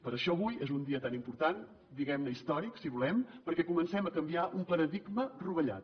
per això avui és un dia tan important diguem ne històric si volem perquè comencem a canviar un paradigma rovellat